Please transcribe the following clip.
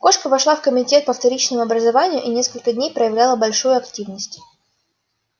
кошка вошла в комитет по вторичному образованию и несколько дней проявляла большую активность